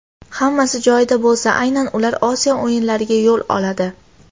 Hammasi joyida bo‘lsa, aynan ular Osiyo o‘yinlariga yo‘l oladi.